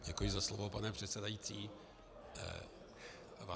Děkuji za slovo, pane předsedající.